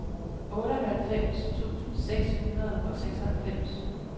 otteoghalvfems tusind seks hundrede og seksoghalvfems